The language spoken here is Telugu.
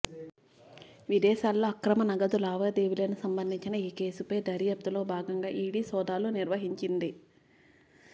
విదేశాల్లో అక్రమ నగదు లావాదేవీలకు సంబంధించిన ఈ కేసుపై దర్యాప్తులో భాగంగా ఈడీ సోదాలు నిర్వహించింది